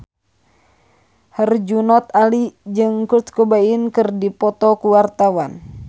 Herjunot Ali jeung Kurt Cobain keur dipoto ku wartawan